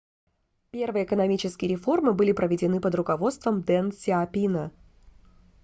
первые экономические реформы были проведены под руководством дэн сяопина